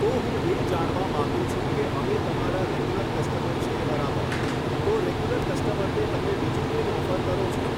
તો હું એ જાણવા માગું છે કે અમે તમારા રેગ્યુલર કસ્ટમર છીએ બરાબર તો રેગ્યુલર કસ્ટમરને તમે બીજું કંઈ ઑફર કરો છો.